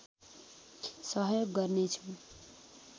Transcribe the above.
सहयोग गर्नेछु